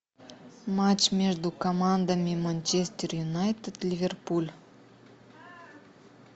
матч между командами манчестер юнайтед ливерпуль